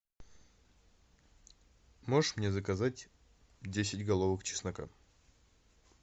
можешь мне заказать десять головок чеснока